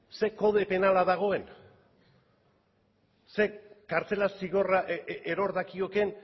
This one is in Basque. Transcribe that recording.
zer kode penala dagoen zer kartzela zigorra eror dakiokeen